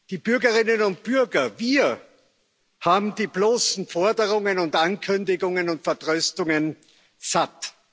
Die Bürgerinnen und Bürger wir haben die bloßen Forderungen und Ankündigungen und Vertröstungen satt.